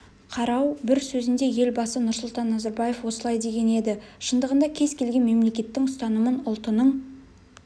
қарау бір сөзінде елбасы нұрсұлтан назарбаев осылай деген еді шындығында кез келген мемлекеттің ұстанымын ұлтының